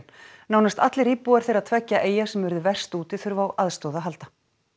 nánast allir íbúar þeirra tveggja eyja sem urðu verst úti þurfa á aðstoð að halda